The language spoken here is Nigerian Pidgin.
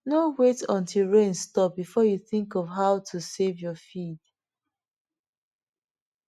no wait untill rain stop before you think of how to save your feed